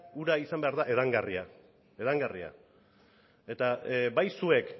ura izan behar da edangarria edangarria eta bai zuek